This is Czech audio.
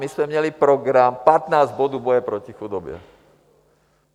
My jsme měli program 15 bodů boje proti chudobě.